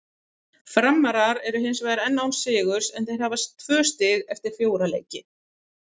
Framarar eru hinsvegar enn án sigurs en þeir hafa tvö stig eftir fjóra leiki.